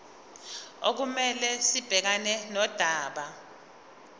okumele sibhekane nodaba